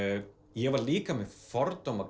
ég var líka með fordóma